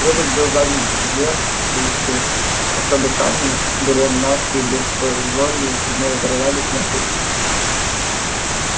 передок был загнут кверху чтобы сани берестяные без полозьев не зарывались в мягкий пушистый снег